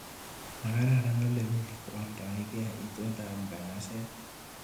Makaran olemi kowaldaike itondap nganaset.